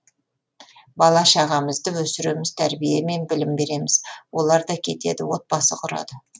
бала шағамызды өсіреміз тәрбие мен білім береміз оларда кетеді отбасы құрады